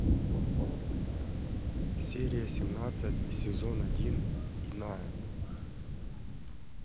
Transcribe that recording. серия семнадцать сезон один иная